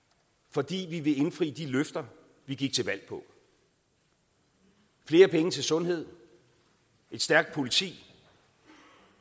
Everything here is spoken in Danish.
fordi vi vil indfri de løfter vi gik til valg på flere penge til sundhed et stærkt politi